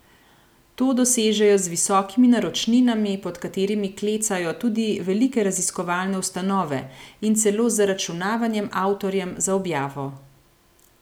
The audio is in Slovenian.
To dosežejo z visokimi naročninami, pod katerimi klecajo tudi velike raziskovalne ustanove, in celo z zaračunavanjem avtorjem za objavo.